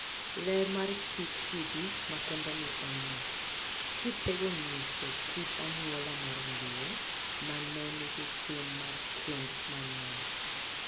Ler mar kit kidi makendeni en ni, kitego nyiso kit anyuola mar Luo ma ne nigi tim mar kend mang'eny,